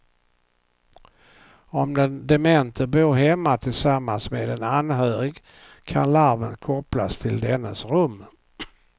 Om den demente bor hemma tillsammans med en anhörig kan larmet kopplas till dennes rum.